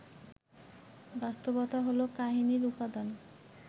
বাস্তবতা হলো কাহিনির উপাদান